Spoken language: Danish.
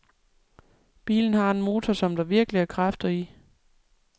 Bilen har en motor, som der virkelig er kræfter i.